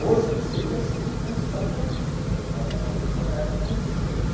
Hoje ele seria assim, consagradíssimo né, carnavalesco, mas na época não existia isso.